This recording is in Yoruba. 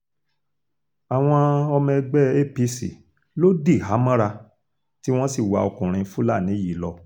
àwọn ọmọ ẹgbẹ́ apc ló dìhámọ́ra tí wọ́n sì wá ọkùnrin fúlàní yìí lọ